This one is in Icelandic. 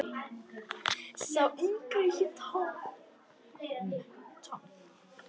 Sá yngri hét Tom.